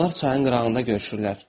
Onlar çayın qırağında görüşürlər.